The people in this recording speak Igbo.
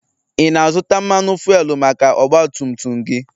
ị na-azụta Mmanụ fuelu maka ọgbatumtum gị?